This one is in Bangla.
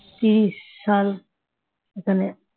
ত্রিশ সাল এখানে